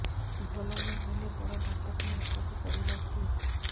ଭଲ ନହେଲେ ବଡ ଡାକ୍ତର ଖାନା ଯିବା କୁ ପଡିବକି